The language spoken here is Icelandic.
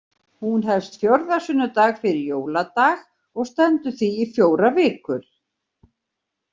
Hún hefst fjórða sunnudag fyrir jóladag og stendur því í fjórar vikur.